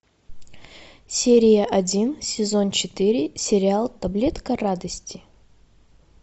серия один сезон четыре сериал таблетка радости